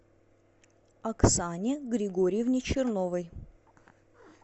оксане григорьевне черновой